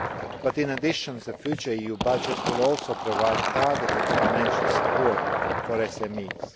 But in addition, the future EU budget will also provide targeted financial support for SMEs.